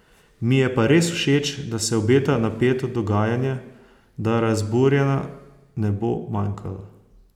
Mi je pa res všeč, da se obeta napeto dogajanje, da razburjenja ne bo manjkalo.